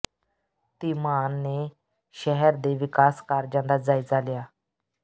ਧੀਮਾਨ ਨੇ ਸ਼ਹਿਰ ਦੇ ਵਿਕਾਸ ਕਾਰਜਾਂ ਦਾ ਜਾਇਜ਼ਾ ਲਿਆ